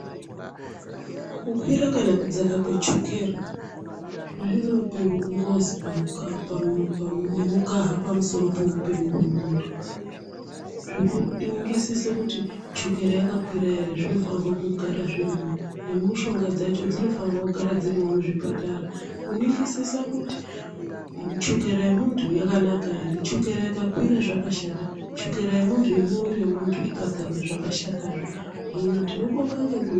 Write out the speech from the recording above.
Kukwira kana kudzaka kwechukera zvinope ngozi pamukaha kana kuti pamusoro pemukaha wemunhu zvokuningisisa luti chukera yakwira here zvinofanirwe kugara zvirimo nemushonga dzacho zvinofanirwa kugara zvirimo muchipatara kuningisisa kuti chukera yemundu yakanaka here chukera ikwakira zvakashata chukera yemundu unomwira zvashata zvee hino tinobonga anoita nezveutano.